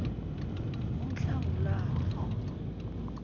unhlangulana